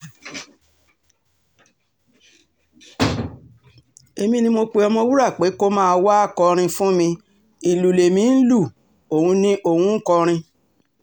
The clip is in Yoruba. èmi ni mo pe ọ̀mọ̀wúrà pé kó máa wáá kọrin fún mi ìlú lèmi ń lu òun ń kọrin